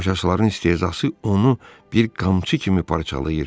Tamaşaçıların istehzası onu bir qamçı kimi parçalayır.